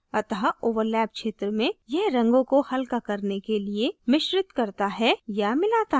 अतः overlap क्षेत्र में यह रंगों को हल्का करने के लिए मिश्रित करता है या मिलाता है